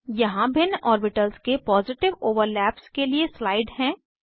यहाँ भिन्न ऑर्बिटल्स के पॉजिटिव ओवरलैप्स के लिए स्लाइड है